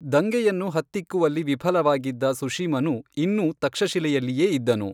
ದಂಗೆಯನ್ನು ಹತ್ತಿಕ್ಕುವಲ್ಲಿ ವಿಫಲವಾಗಿದ್ದ ಸುಶೀಮನು ಇನ್ನೂ ತಕ್ಷಶಿಲೆಯಲ್ಲಿಯೇ ಇದ್ದನು.